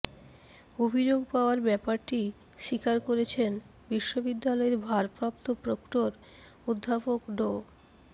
অভিযোগ পাওয়ার ব্যাপারটি স্বীকার করেছেন বিশ্ববিদ্যালয়ের ভারপ্রাপ্ত প্রক্টর অধ্যাপক ড